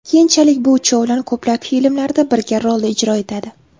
Keyinchalik bu uchovlon ko‘plab filmlarda birga rol ijro etadi.